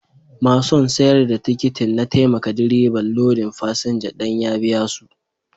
Masun sayar da tikitin na taimaka direban lodin fasinja danya biya su.